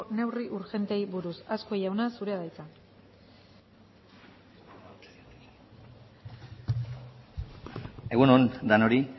neurri urgenteei buruz azkue jauna zurea da hitza egun on denoi